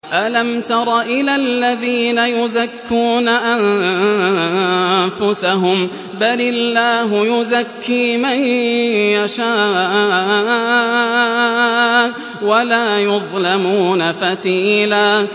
أَلَمْ تَرَ إِلَى الَّذِينَ يُزَكُّونَ أَنفُسَهُم ۚ بَلِ اللَّهُ يُزَكِّي مَن يَشَاءُ وَلَا يُظْلَمُونَ فَتِيلًا